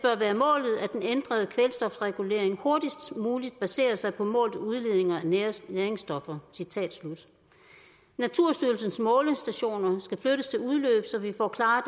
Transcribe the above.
ændrede kvælstofregulering hurtigst muligt baserer sig på målte udledninger af næringsstoffer næringsstoffer naturstyrelsens målestationer skal flyttes til udløb så vi får klare